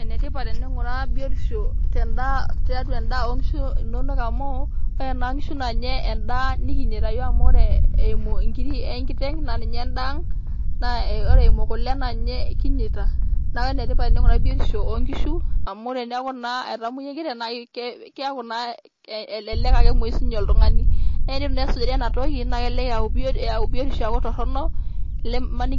Ene tipat teninguraa biotisho tendaa tiatu endaa oonkishu inonok amu ore naa nkishu naa ninye endaa nikinyaita yiook amu ore nkiri enkiteng naa ninye endaa ang naa ore eimu kule na ninye kinyaita niaku ene tipat teninguraa biotisho oonkishu amu teneaku naa etamoyia enkiteng naa kiaku naa elelek emwoyu si ninye oltungani . naa tenitu naa esijari ena toki naa kelelek eyau biotisho eyaku torono